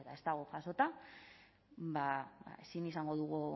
eta ez dago jasota ba ezin izango dugu